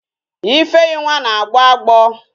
Ifeyinwa na-agbo agbọ